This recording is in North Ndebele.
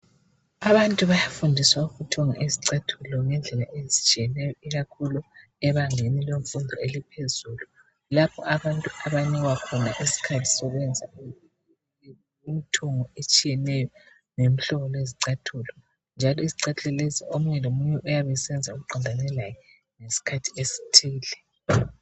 Abantu bayafundiswa ukuthunga izicathulo ngendlela ezisetshiyeneyo ikakhulu ebangeni lemfundo eliphezulu, lapha abantu abanikwa khona isikhathi sokwenza imithungo etshiyeneyo lemihlobo yezicathulo, njalo izicathulo lezi omunye lomunye uyabe esenza okuqondane laye ngesikhathi esithile.